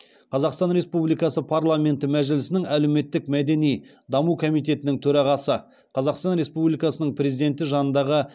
қазақстан республикасы парламенті мәжілісінің әлеуметтік мәдени даму комитетінің төрағасы қазақстан республикасының президенті жанындағы